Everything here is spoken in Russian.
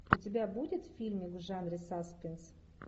у тебя будет фильмик в жанре саспенс